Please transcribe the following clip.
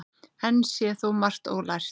Enn sé þó margt ólært.